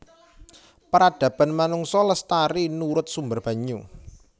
Peradaban manungsa lestari nurut sumber banyu